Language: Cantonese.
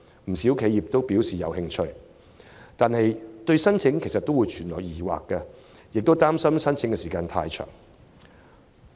不少企業均表示有興趣，但對申請存有疑問，亦憂慮申請需時。